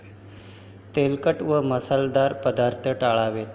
तेलकट व मसालेदार पदार्थ टाळावेत.